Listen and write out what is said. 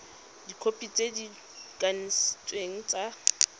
dikhopi tse di kanisitsweng tsa